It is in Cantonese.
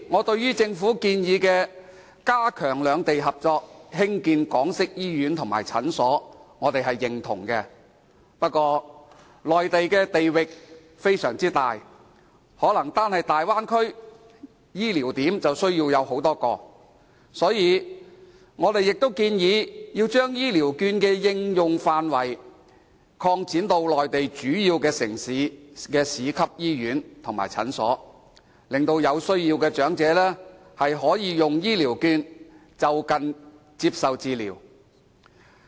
對此，政府提出加強兩地合作，興建港式醫院和診所的建議，我們表示認同，不過，內地地域廣大，單是大灣區便可能需要多個醫療點，所以，我們也建議把醫療券的應用範圍擴展至內地主要城市的市級醫院及診所，令有需要的長者可以用醫療券，就近接受治療。